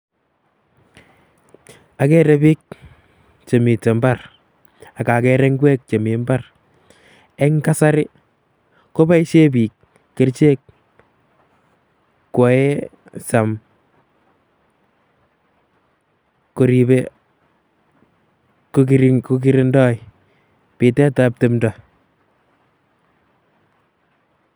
Okere biik chemiten imbar ak okere ing'wek chemii imbar, eng' kasari koboishen biik kerichek koyoen, koribe, kikirindoi bitetab timndo.